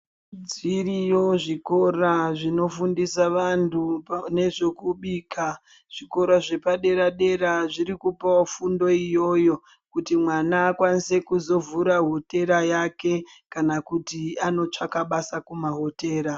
Zviriyo zvikora zvinofundisa vanthu panezvokubika zvikora zvepadera-dera zvirikupawo fundo iyoyo kuti mwana akwanise kuzovhure hotera yake kana kuti andotsvake basa kumahotera.